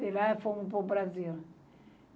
De lá fomos para o Brasil.